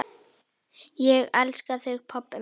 Ég elska þig pabbi minn.